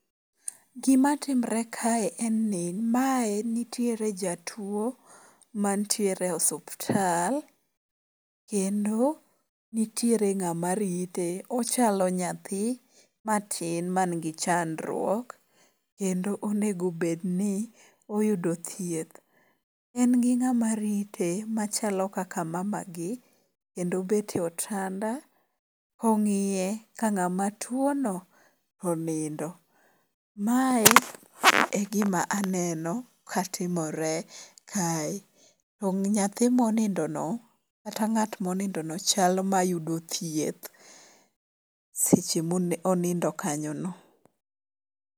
Gimatimre kae en ni mae nitiere jatuwo mantiere osuptal, kendo nitiere ng'ama rite. Ochalo nyathi matin manigi chandruok, kendo onego obed ni oyudo thieth. En gi ng'ama rite machalo kaka mamagi, kendo obet e otanda kong'iye ka ng'ama tuwono onindo. Mae e gima aneno ka timore kae. To nyathi monindono kata ng'at monindono chal mayudo thieth, seche monindo kanyono.